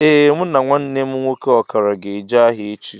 Ee mụ na nwanne mụ nwoke ọkara ga-eje ahia echi